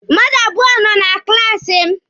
Mmadụ abụọ nọ na klaasi m.